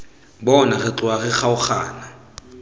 bona re tloga re kgaogana